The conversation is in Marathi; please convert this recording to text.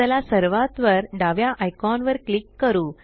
चला सर्वात वर डाव्या आयकॉन वर क्लिक करू